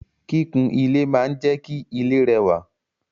Kikun ile maa n je ki ile rewa